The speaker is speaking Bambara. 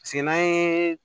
Paseke n'an ye